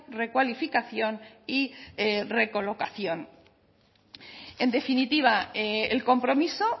recualificación y recolocación en definitiva el compromiso